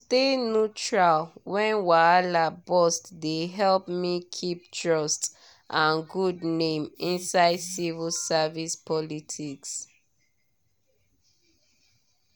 to stay neutral when wahala burst dey help me keep trust and good name inside civil service politics.